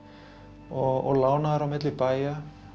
og lánaðar á milli bæja